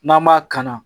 N'an b'a kanna